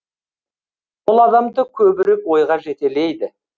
ол адамды көбірек ойға жетелейді